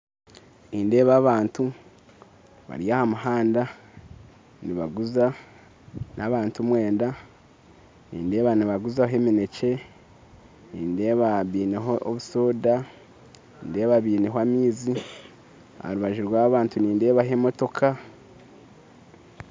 Nindeeba abantu bari aha muhanda nibaguza n'abantu mwenda nindeeba nibaguzaho emineekye nindeeba baineho obusoda nindeeba baineho amaizi aharubaju rwaaba bantu nindeebaho emotooka